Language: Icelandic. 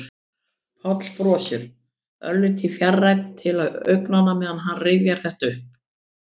Páll brosir, örlítið fjarrænn til augnanna meðan hann rifjar þetta upp.